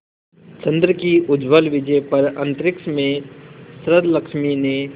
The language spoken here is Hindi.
चंद्र की उज्ज्वल विजय पर अंतरिक्ष में शरदलक्ष्मी ने